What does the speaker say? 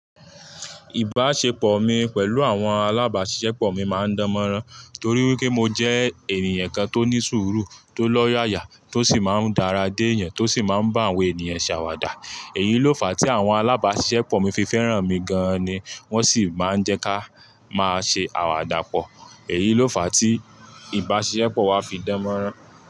Ìbáṣepọ̀ mi pẹ̀lú àwọn alábáṣiṣẹ́pọ̀ mi máa ń dánmọ́nrán torí pé mo jẹ́ ènìyàn kan tó ní sùúrù, tó lọ́yàyà, tó sì máa ń dáradé yan, tó sì máa ń bá àwọn ènìyàn ṣàwàdà. Èyí ló fà á tí àwọn alábáṣiṣẹ́pọ̀ mi fi fẹ́ràn mi gan an ni wọ́n sì máa ń jẹ́ ká máa ṣe àwàdà pọ̀. Èyí ló fà tí ìbáṣepọ̀ wa fi dánmọ́nrán.